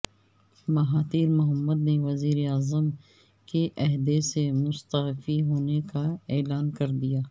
Mahathir Mohamad نے وزیراعظم کے عہدے سے مستعفی ہونے کا اعلان کردیا